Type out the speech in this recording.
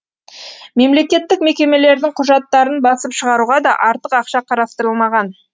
мемлекеттік мекемелердің құжаттарын басып шығаруға да артық ақша қарастырылмаған